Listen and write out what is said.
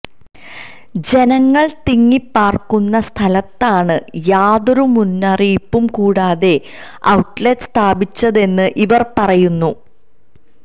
ജനങ്ങൾ തിങ്ങിപ്പാർക്കുന്ന സ്ഥലത്താണ് യാതൊരു മുന്നറിയിപ്പും കൂടാതെ ഔട്ട്ലെറ്റ് സ്ഥാപിച്ചതെന്ന് ഇവർ പറയുന്നു